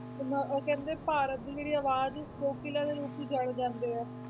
ਤੇ ਮ~ ਉਹ ਕਹਿੰਦੇ ਭਾਰਤ ਦੀ ਜਿਹੜੀ ਆਵਾਜ਼ ਕੋਕਿਲਾ ਦੇ ਰੂਪ 'ਚ ਜਾਣੇ ਜਾਂਦੇ ਹੈ